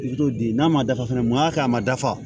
I t'o di n'a ma dafa fana mun y'a kɛ a ma dafa